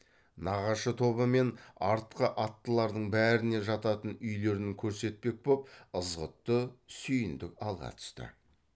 нағашы тобы мен артқы аттылардың бәріне жататын үйлерін көрсетпек боп ызғұтты сүйіндік алға түсті